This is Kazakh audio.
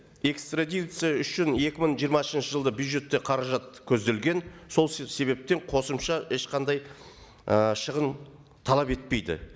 экстрадиция үшін екі мың жиырмасыншы жылда бюджетте қаражат көзделген сол себептен қосымша ешқандай і шығын талап етпейді